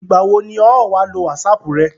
ìgbà wo ni ọ̀ ọ́ wá lo wásapù rẹ?